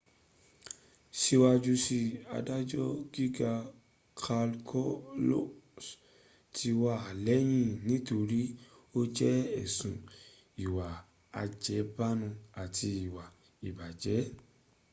síwájú si adájọ́ gíga kalousis ti wà lẹ́wòn nítorí o jẹ̀bi èsùn íwá ájẹbánu àti íwá ìbàjẹ́